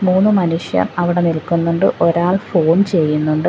മൂന്നു മനുഷ്യർ അവിടെ നിൽക്കുന്നുണ്ട് ഒരാൾ ഫോൺ ചെയ്യുന്നുണ്ട്.